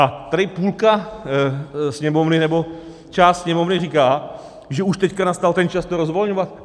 A tady půlka Sněmovny, nebo část Sněmovny říká, že už teď nastal ten čas to rozvolňovat.